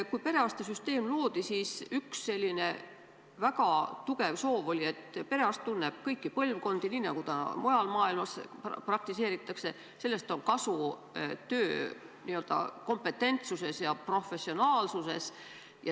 Kui perearstisüsteem loodi, siis oli üks väga tugev soov, et perearst tunneb kõiki põlvkondi, nii nagu mujal maailmas praktiseeritakse, sellest on kasu töökompetentsuses ja professionaalsuses.